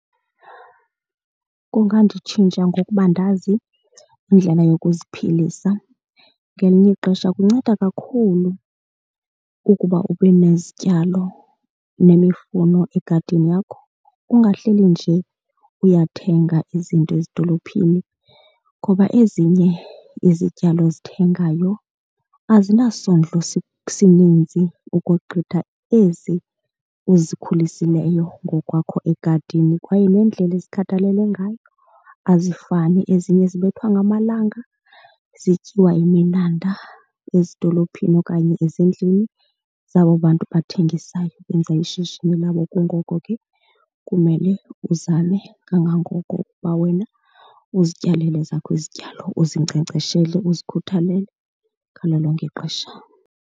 Kungandintshintsha ngokuba ndazi indlela yokuziphilisa. Ngelinye ixesha kunceda kakhulu ukuba ube nezityalo nemifuno egadini yakho, ungahleli nje uyathenga izinto ezidolophini ngoba ezinye izityalo ozithengayo azinasondlo sininzi ukogqitha ezi uzikhuliseleyo ngokwakho egadini kwaye nendlela ezikhathalelwe ngayo azifani. Ezinye zibethwa ngamalanga, zityiwa yiminanda ezidolophini okanye ezindlini zabo bantu bathengisayo ukwenza ishishini labo. Kungoko ke kumele uzame kangangoko ukuba wena uzityalele ezakho izityalo, uzinkcenkceshele uzikhuthalele ngalo lonke ixesha.